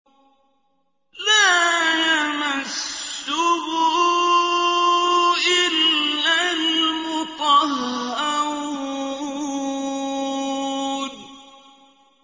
لَّا يَمَسُّهُ إِلَّا الْمُطَهَّرُونَ